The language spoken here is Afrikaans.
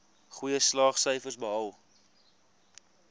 goeie slaagsyfers behaal